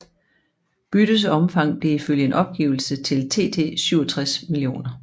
Byttets omfang blev ifølge en opgivelse til TT 67 mio